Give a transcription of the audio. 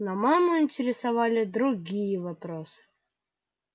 но маму интересовали другие вопросы